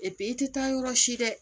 i tɛ taa yɔrɔ si dɛ